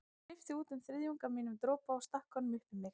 Ég klippti út um þriðjung af mínum dropa og stakk honum upp í mig.